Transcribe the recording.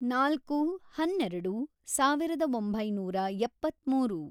ನಾಲ್ಕು, ಹನ್ನೆರೆೆಡು, ಸಾವಿರದ ಒಂಬೈನೂರ ಎಪ್ಪತ್ಮೂರು